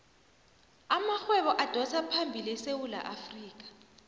amarhwebo adosaphambili esewula afrikha